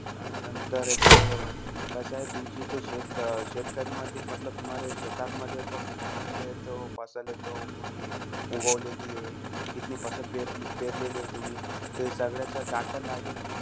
अं नंतर तो कसंय, तुमची तो शेत अं शेतकरीमध्ये मतलब शेतांमध्ये तो कित्ते-कित्ते तो हे तो तुम्ही उगवलेली आहे? किती परे पेरलेलीय तुम्ही? त्या सगळ्याचा data लागेल.